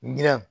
Girinna